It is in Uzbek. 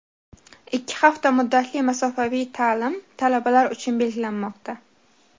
Ikki hafta muddatli masofaviy ta’lim talabalar uchun belgilanmoqda.